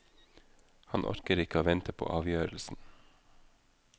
Han orker ikke å vente på avgjørelsen.